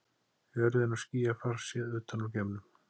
Jörðin og skýjafar séð utan úr geimnum.